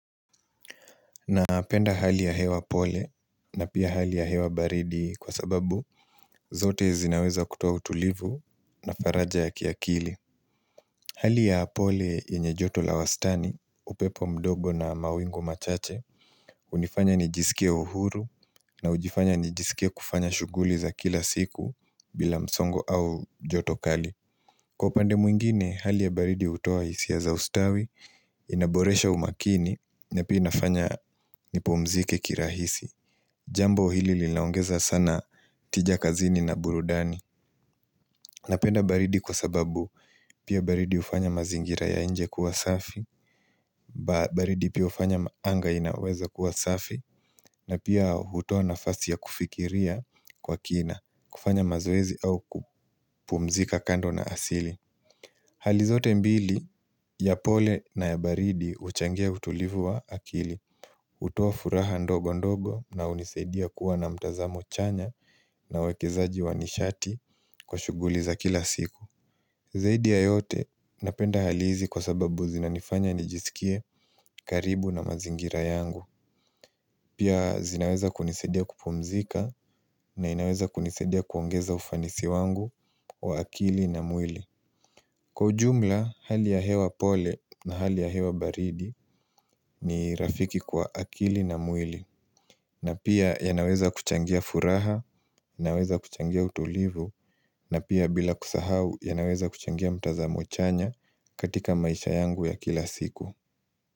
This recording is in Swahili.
Napenda hali ya hewa pole na pia hali ya hewa baridi kwa sababu zote zinaweza kutoa utulivu na faraja ya kiakili. Hali ya pole yenye joto la wastani upepo mdogo na mawingu machache hunifanya nijisikie uhuru na hujifanya nijisikia kufanya shuguli za kila siku bila msongo au joto kali. Kwa pandemu mwingine, hali ya baridi hutoa hisia ya za ustawi, inaboresha umakini, na pia inafanya nipumzike kirahisi. Jambo hili linaongeza sana tija kazini na burudani. Napenda baridi kwa sababu, pia baridi hufanya mazingira ya inje kuwa safi, baridi pia hufanya anga inaweza kuwa safi, na pia hutoa nafasi ya kufikiria kwa kina, kufanya mazoezi au kupumzika kando na asili. Hali zote mbili ya pole na ya baridi huchangia utulivu wa akili hutoa furaha ndogo ndogo na hunisaidia kuwa na mtazamo chanya na wekezaji wa nishati kwa shuguli za kila siku Zaidi ya yote napenda hali hizi kwa sababu zinanifanya nijisikie karibu na mazingira yangu Pia zinaweza kunisaidia kupumzika na inaweza kunisedia kuongeza ufanisi wangu wa akili na mwili Kwa ujumla, hali ya hewa pole na hali ya hewa baridi ni rafiki kwa akili na mwili na pia yanaweza kuchangia furaha, inaweza kuchangia utulivu na pia bila kusahau yanaweza kuchangia mtazamo chanya katika maisha yangu ya kila siku.